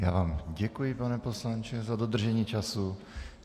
Já vám děkuji, pane poslanče, za dodržení času.